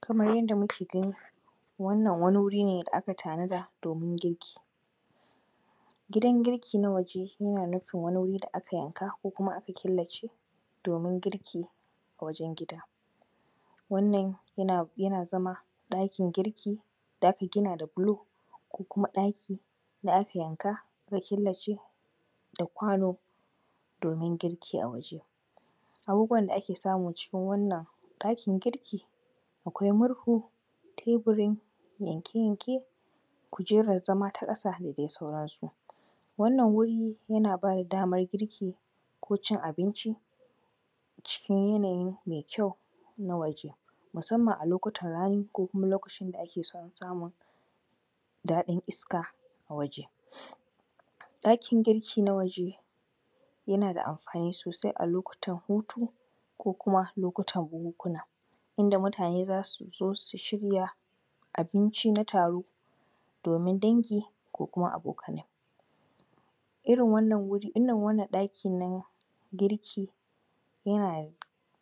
Kamar yadda muke gani wannan wani wur ne da aka tanada domin girki. Gidan girki na waje na nufin wain wuri da aka yanka ko kuma aka killace domin girki a wajen gida. Wannan yana yana zama ɗakin girki da aka gina da bulo, kuma ɗaki da aka yanka aka killace kwano domin girki a waje. Abubuwan da ake cikin wannan ɗakin girki, akwai murhu, teburi yanke-yanke, kujerar zama ta ƙasa da dai sauransu. Wannan wuri na ba da damar girki ko cin abinci abinci cikin yanayi mai kyau na waje, musamman a lokulan rani ko kuma lokacin da ake sanun daɗin iska a waje. ɗakin girki na waje yana da amfani sosai a lokutan hutu ko kuma lokutan bukukunu. Inda mutane za su zo su shirya abinci na taro domin dangi ko kuma abokanai. Irin wannan wur I, irin wannan ɗaki na girki yana da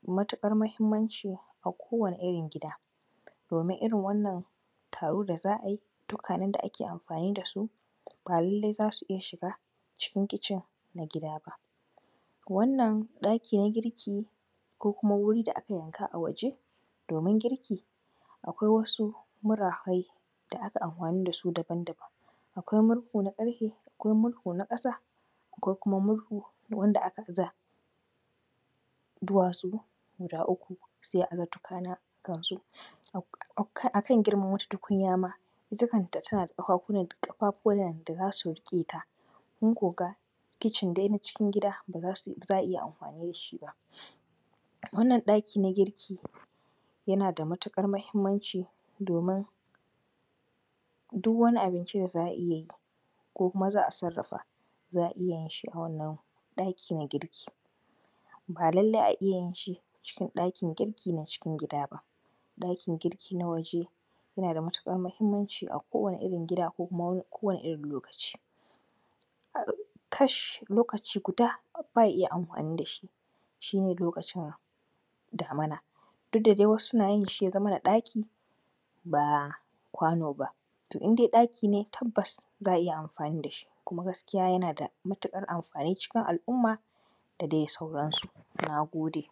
matuƙar muhimmanci a kowane irin gida domin irin wannan taro da za a yi, dukwanen da za a yi amfani da sub a lalle za su iya shiga cikin kicin na gida ba. Wannan ɗakin girki ko kuma wuri da aka yanka a waje domin girki, akwai wasu murafai da akai amfani da su daban-daban. Akwai murhu na ƙarfe, akwai murhu na ƙasa, akwai kuma murhu wanda aka aza duwatsu guda uku sai a aza tukunya a kansu, a kan girman wata tukunya ma ita kanta tana da ƙafafunan da za su riƙeta., kun ko ga kicin dai na cikin gida ba za a iya amfani ba. Wannan ɗaki na girki yana da matuƙar muhimmanci domin uk wani abinci da za a iya yi ko kuma za a sarrafa, za a iya yin shi a wannan ɗaki na girki. Ba lallai a iya yin shi a cikin ɗakin girki na cikin gida ba. ɗakin girki na waje yana da matuƙar muhimmanci a kowane irin gida a kowane irin lokaci. Kash! Lokaci guda ba a iya amfani da shi, shi ne lokacin damina, duk da adi wasu suna yin shi ya zamana ɗaki ba kwano ba, to in dai ɗaki ne tabbas za a iya amfani da shyi kuma gaskiya yana da amfani a cikin al’umma da dai sauransu, na gode.